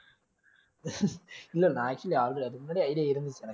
இல்லை நான் actually அது~ அதுக்கு முன்னாடியே idea இருந்துச்சு எனக்கு